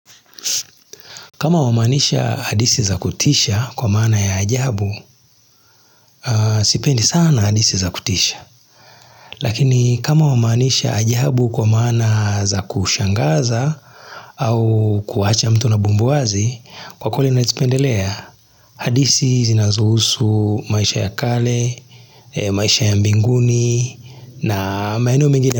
Kama wamaanisha hadithi za kutisha kwa maana ya ajabu, sipendi sana hadithi za kutisha. Lakini kama wamanisha ajabu kwa maana za kushangaza au kuacha mtu na bumbu wazi, kwa kule nazipendelea hadithi zinazuhusu maisha ya kale, maisha ya mbinguni na maeneo mingine.